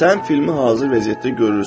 Sən filmi hazır vəziyyətdə görürsən.